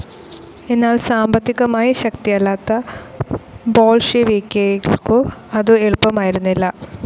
എന്നാൽ സാമ്പത്തികമായി ശക്തിയല്ലാത്ത ബോൾഷെവിക്ക്‌കേൾക്കു അതു എളുപ്പമായിരുന്നില്ല.